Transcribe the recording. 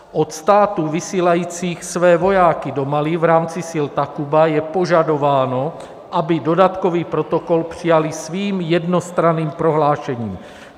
Od států vysílajících své vojáky do Mali v rámci sil Takuba je požadováno, aby dodatkový protokol přijaly svým jednostranným prohlášením.